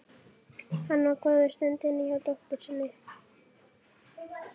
Hann var góða stund inni hjá dóttur sinni.